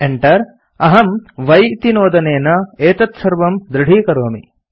Enter अहम् y इति नोदनेन एतत्सर्वं दृढीकरोमि